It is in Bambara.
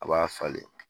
A b'a falen